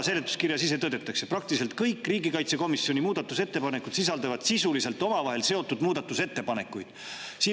Seletuskirjas ise tõdetakse, et praktiliselt kõik riigikaitsekomisjoni muudatusettepanekud sisaldavad sisuliselt omavahel seotud muudatusettepanekuid.